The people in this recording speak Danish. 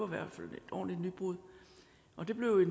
hvert fald et ordentligt nybrud og det blev